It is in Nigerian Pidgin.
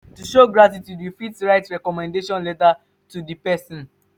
to show gratitude you fit write recommendation letter for di person